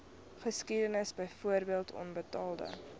geskiedenis byvoorbeeld onbetaalde